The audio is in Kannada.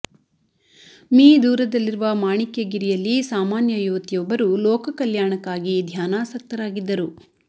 ಮೀ ದೂರದಲ್ಲಿರುವ ಮಾಣಿಕ್ಯ ಗಿರಿಯಲ್ಲಿ ಸಾಮಾನ್ಯ ಯುವತಿಯೊಬ್ಬರು ಲೋಕ ಕಲ್ಯಾಣಕ್ಕಾಗಿ ಧ್ಯಾನಾಸಕ್ತರಾಗಿದ್ದರು